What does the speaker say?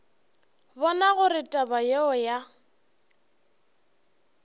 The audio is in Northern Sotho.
bona gore taba yeo ya